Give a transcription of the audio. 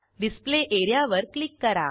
display area वर click करा